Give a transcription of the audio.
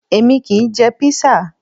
Èmi kì í jẹ Písà